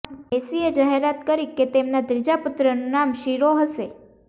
મેસ્સીએ જાહેરાત કરી કે તેમના ત્રીજા પુત્રનું નામ સિરો હશે